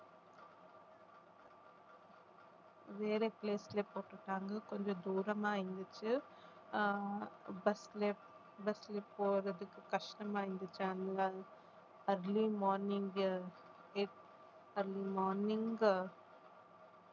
வேற place ல போட்டு இருக்காங்க கொஞ்சம் தூரமா இருந்துச்சு ஆஹ் bus ல bus ல போறதுக்கு கஷ்டமா இருந்துச்சு அதனால அதுலயும் morning early morning